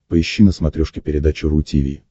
поищи на смотрешке передачу ру ти ви